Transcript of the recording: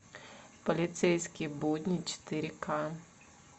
полицейские будни четыре к